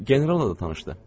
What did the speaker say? General ilə də tanışdır.